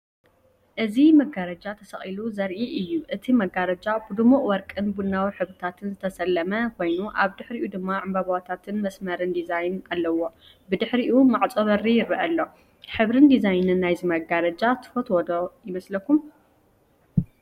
እዚ መጋረጃ ተሰቒሉ ዘርኢ እዩ። እቲ መጋረጃ ብድሙቕ ወርቅን ቡናውን ሕብርታት ዝተሰለመ ኮይኑ፡ ኣብ ልዕሊኡ ድማ ዕምባባታትን መስመርን ዲዛይን ኣለዎ። ብድሕሪኡ ማዕፆ በሪ ይርአ ኣሎ። ሕብርን ዲዛይንን ናይዚ መጋረጃ ትፈትዎ ዶ ይመስለኩም?